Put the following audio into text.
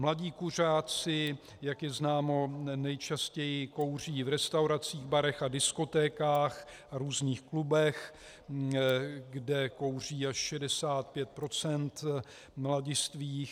Mladí kuřáci, jak je známo, nejčastěji kouří v restauracích, barech a diskotékách a různých klubech, kde kouří až 65 % mladistvých.